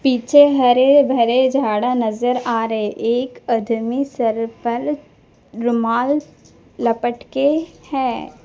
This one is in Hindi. पीछे हरे भरे झाड़ा नजर आ रहे एक अदमी सर पर रुमाल लपेट के है।